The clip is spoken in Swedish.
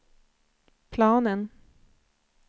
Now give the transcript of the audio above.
planen